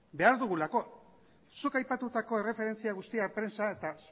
behar dugulako zuk aipatutako erreferentzia guztia prentsa eta